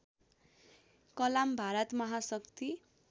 कलाम भारत महाशक्ति